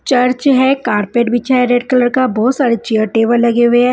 Church है carpet बिछा है रेड कलर का बहोत सारे चेयर टेबल लगे हुए है।